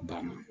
Banna